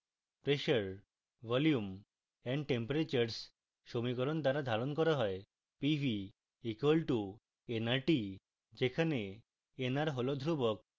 pressure volume and temperatures সমীকরণ দ্বারা ধারণ করা হয় pv = nrt যেখানে nr হল ধ্রুবক